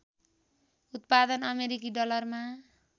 उत्पादन अमेरिकी डलरमा